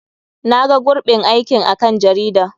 Na ga gurɓin aikin a kan jarida.